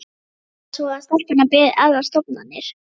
Reyndar var það svo að stelpunnar biðu aðrar stofnanir.